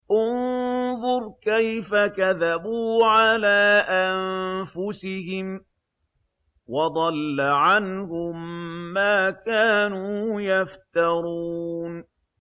انظُرْ كَيْفَ كَذَبُوا عَلَىٰ أَنفُسِهِمْ ۚ وَضَلَّ عَنْهُم مَّا كَانُوا يَفْتَرُونَ